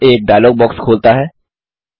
यह एक dialog box खोलता है